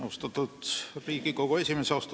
Austatud Riigikogu esimees!